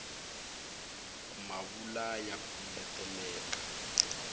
ku ma vula ya kumbeteleka